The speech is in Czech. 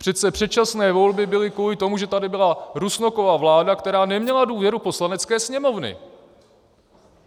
Přece předčasné volby byly kvůli tomu, že tady byla Rusnokova vláda, která neměla důvěru Poslanecké sněmovny.